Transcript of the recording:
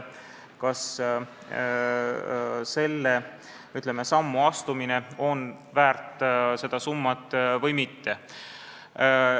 Kas selle sammu astumine on seda summat väärt või mitte?